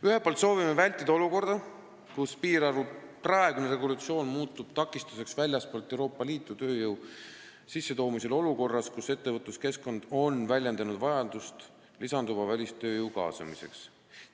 Ühelt poolt soovime vältida seda, et piirarvu praegune regulatsioon muutuks takistuseks väljastpoolt Euroopa Liitu tööjõu sissetoomisele olukorras, kus ettevõtluskeskkond on väljendanud vajadust lisanduva välistööjõu kaasamiseks.